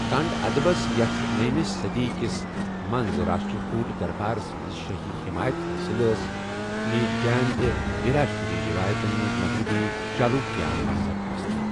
کنڑ ادبس ، یَتھ نٔو مہِ صٔدی کِس منز راشٹرکوُٹ دربارَس منٛز شٲہی حمایت حٲصل ٲس، مِیجہِ جین تہٕ ویراشیوا رٮ۪وایتَن منٛز مغربی چالوٗكیاہن ہنز سرپرستی۔